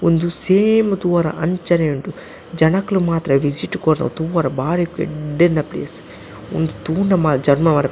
ಉಂದು ಸೇಮ್ ತೂವರ ಅಂಚನೆ ಉಂಡು ಜನಕುಲು ಮಾತ್ರ ವಿಸಿಟ್ ಕೊರ್ರೆ ತೂವರೆ ಬಾರಿ ಎಡ್ಡೆಂತಿನ ಪ್ಲೇಸ್ ಉಂದು ತೂಂಡ ಮ ಜನ್ಮ--